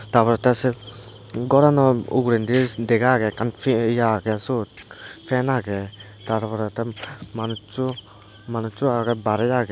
taporey te siot gorano ugurendi dega agey ekkan ye ya agey suot fan agey tarporey te manucho manuccho agey bairey agey.